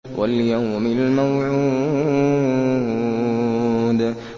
وَالْيَوْمِ الْمَوْعُودِ